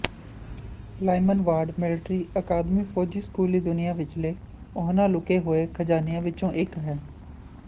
Lyman Ward Military Academy ਫੌਜੀ ਸਕੂਲੀ ਦੁਨੀਆਂ ਵਿਚਲੇ ਉਹਨਾਂ ਲੁਕੇ ਹੋਏ ਖਜਾਨਿਆਂ ਵਿੱਚੋਂ ਇੱਕ ਹੈ